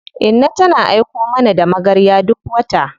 Inna tana aiko mana da magarya duk wata.